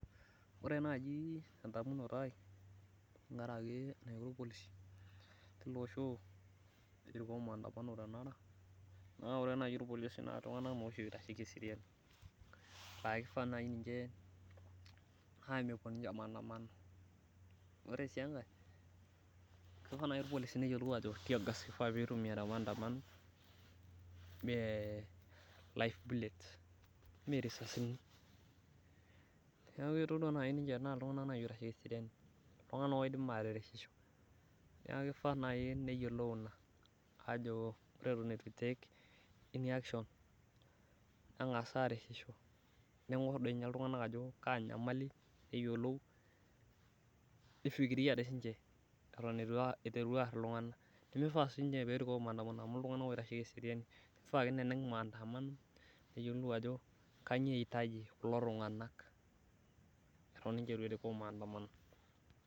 ore naaji tedamunoto ai naa tengaraki naiko ilpolisi tiloosho ekipuo maantamano naa kifaa paa ore niche naa itung'anak oitasheki eseriani , naa mepuo niche maandamano , ore sii engae kifaa pee eyiolou sirkali ajo teargas itumiya temaandamano ime life bulet me risasini naa iltung'anak naaji oitasheki eseriani , naakifaa naaji neyiolou kuna ore etuan'as aitek eni action, neigor dii ninye iltung'anak ajo kaa nyamali pee eyiolou nifikiria sii dii siniche eton etu iteru aaar iltung'anak naa mifaa siidi niche nerikoo maantamano pee eyiolou ajo kainyioo eitaji kulo tung'anak eton niche etu erikoo maandamano.